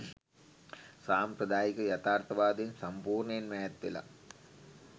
සාම්ප්‍රදායික යථාර්ථවාදයෙන් සම්පූර්ණයෙන්ම ඈත්වෙලා